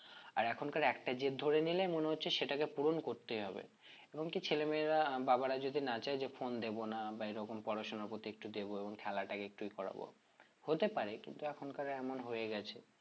আর এখনকার একটা জেদ ধরে নিলে মনে হচ্ছে সেটাকে পূরণ করতেই হবে এবং কি ছেলে মেয়েরা বাবারা যদি না চায়ে যে phone দেব না বা এরকম পড়াশোনার প্রতি একটু দেব এবং খেলাটা একটুই করাবো হতে পারে কিন্তু এখনকার এমন হয়ে গেছে